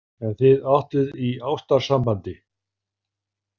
En þið áttuð í ástarsambandi?